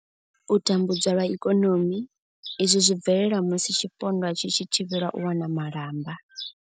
U tambudzwa lwa ikonomi, izwi zwi bvelela musi tshipondwa tshi tshi thivhelwa u wana malamba.